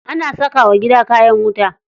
Ana saka wa gida kayan wuta.